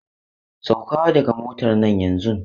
Sauka daga motar nan yanzun!